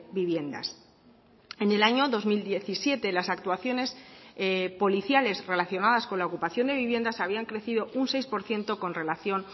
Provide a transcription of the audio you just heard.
viviendas en el año dos mil diecisiete las actuaciones policiales relacionadas con la ocupación de viviendas habían crecido un seis por ciento con relación